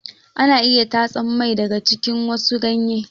Ana iya tatsan mai daga jikin wasu ganye.